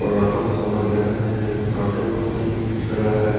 और ऑटो में सफर कर रहे हैं ऑटो भी खड़ा है।